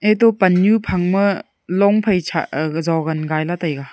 eto pan nyu phangma long phai shah aga jogan gailey taiga.